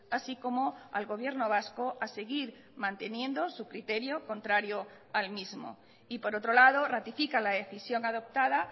así como al gobierno vasco a seguir manteniendo su criterio contrario al mismo y por otro lado ratifica la decisión adoptada